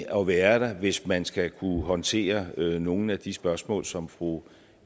at være der hvis man skal kunne håndtere nogle af de spørgsmål som fru